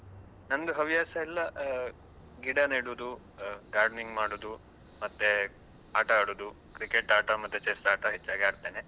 ನಂದು ಹವ್ಯಾಸ ಎಲ್ಲಾ ಆ ಗಿಡ ನೆಡುದು, ಆ gardening ಮಾಡುದು, ಮತ್ತೆ ಆಟ ಆಡುದು, cricket ಆಟ ಮತ್ತೆ chess ಆಟ ಹೆಚ್ಚಾಗಿ ಆಡ್ತೇನೆ.